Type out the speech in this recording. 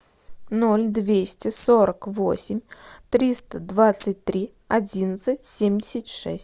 ноль двести сорок восемь триста двадцать три одиннадцать семьдесят шесть